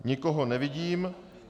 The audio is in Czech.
Nikoho nevidím.